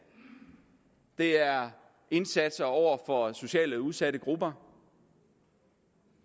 det er indsatser over for socialt udsatte grupper